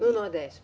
No Nordeste.